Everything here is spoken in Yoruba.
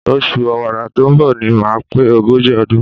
Oṣù Ọ̀wàrà tó ń bọ̀ ni màá pé ogójì ọdún.